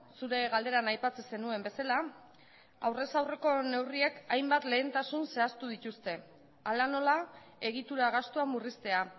zure galderan aipatzen zenuen bezala aurrez aurreko neurriak hainbat lehentasun zehaztu dituzte hala nola egitura gastua murriztea